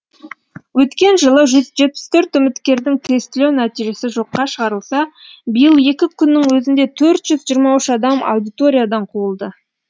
өткен жылы жүз жетпіс төрт үміткердің тестілеу нәтижесі жоққа шығарылса биыл екі күннің өзінде төрт жиырма үш адам аудиториядан қуылды